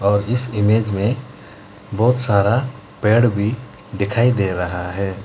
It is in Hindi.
और इस इमेज में बहुत सारा पेड़ भी दिखाई दे रहा है।